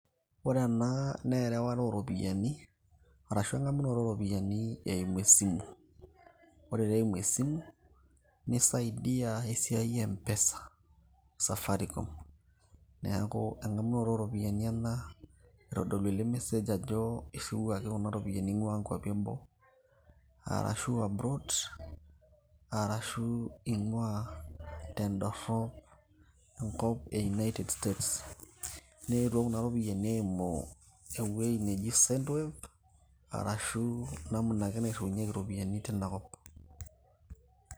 Ore ena na erewata oropiyiani, arashu eng'amunoto oropiyiani eimu esimu. Ore ta eimu esimu, nisaidia esiai e mpesa, Safaricom. Neeku eng'amunoto oropiyiani ena, eitodolu ele mesej ajo, irriwuaki kuna ropiyaiani ing'ua nkwapi eboo, arashu abroad, arashu ing'ua tedorrop enkop e United States. Neetuo kuna ropiyaiani eimu ewei neji Sendo Wave, arashu namuna ake nairriunyeki iropiyiani tinakop.